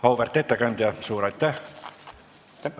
Auväärt ettekandja, suur aitäh!